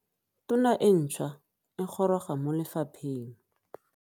Tona e ntšhwa e goroga mo lefapheng.